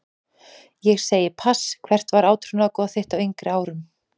Segi pass Hvert var átrúnaðargoð þitt á yngri árum?